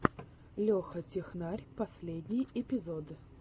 леха технарь последний эпизод